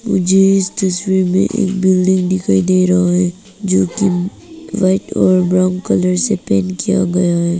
मुझे इस तस्वीर में एक बिल्डिंग दिखाई दे रहा है जोकि व्हाइट और ब्राउन कलर से पेंट किया गया है।